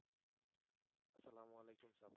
আসসালামু আলাইকুম সাব